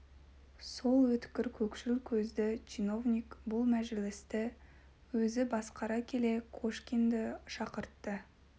сол өткір көкшіл көзді чиновник бұл мәжілісті өзі басқара келе кошкинді шақыртты